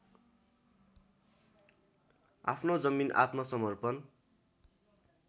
आफ्नो जमिन आत्मसमर्पण